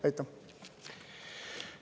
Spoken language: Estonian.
Aitäh!